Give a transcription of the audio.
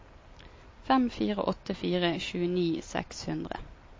fem fire åtte fire tjueni seks hundre